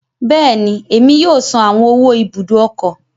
Bẹẹni, Emi yoo san awọn owó Ibùdó ọkọ̀